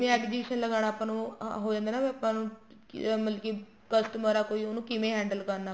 ਜਿਵੇਂ exhibition ਲਗਾਣਾ ਹੈ ਆਪਾਂ ਨੂੰ ਹੋ ਜਾਂਦਾ ਹੈ ਵੀ ਆਪਾਂ ਨੂੰ ਮਤਲਬ ਕੀ customer ਆ ਕੋਈ ਉਹਨੂੰ ਕਿਵੇਂ handle ਕਰਨਾ ਹੈ